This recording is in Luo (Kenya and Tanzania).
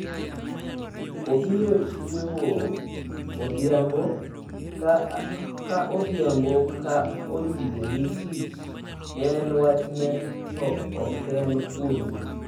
‘Obiro chiewo odhiambo ka odhiambo ka oyie ni tich en wachne to oken kuomi.